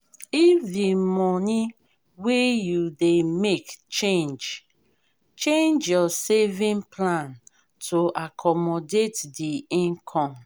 if di money wey you dey make change change your saving plan to accomodate di income